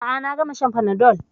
A'a, na gama shan fanadol